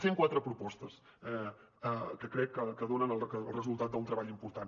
cent quatre propostes que crec que donen el resultat d’un treball important